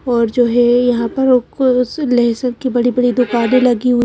और जो है यहां पर लहसुन की बड़ी-बड़ी दुकानें लगी हुई--